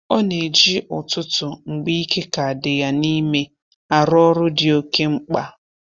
Ọ na-eji ụtụtụ mgbe ike ka dị ya n'ime arụ ọrụ dị oke mkpa